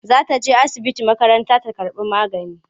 Za ta je asibiti makaranta ta karɓi magani.